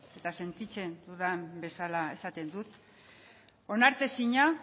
eta sentitzen dudan bezala esaten dut onartezina